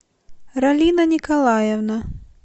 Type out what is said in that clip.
ралина николаевна